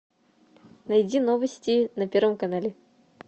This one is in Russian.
найди новости на первом канале